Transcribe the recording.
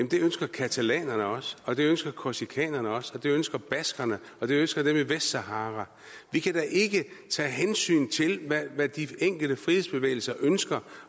det ønsker catalanerne også og det ønsker korsikanerne også det ønsker baskerne og det ønsker dem i vestsahara vi kan da ikke tage hensyn til hvad de enkelte frihedsbevægelser ønsker